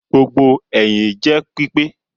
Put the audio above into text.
Gbogbo ẹhin jẹ pipe